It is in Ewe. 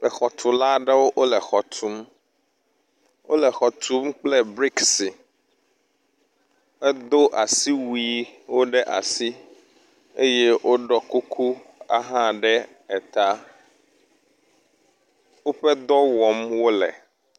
Exɔtula ɖewo wo le xɔ tum. Wo le xɔ tum kple brisiki hedo asiwuwo ɖe asi eye woɖɔ kuku ahã ɖe eta. Woƒe dɔ wɔm wo le.